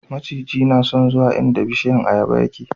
maciji na son zuwa inda bishiyan ayaba yake